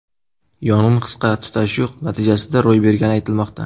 Yong‘in qisqa tutashuv natijasida ro‘y bergani aytilmoqda.